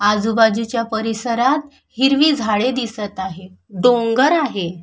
आजूबाजूच्या परिसरात हिरवी झाड दिसत आहे डोंगर आहे.